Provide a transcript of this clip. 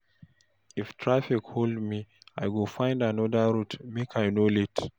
If traffic hold me, I go find another route make I no late.